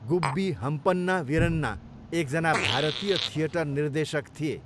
गुब्बी हम्पन्ना वीरन्ना एकजना भारतीय थिएटर निर्देशक थिए।